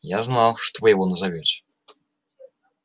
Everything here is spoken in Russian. я знал что вы его назовёте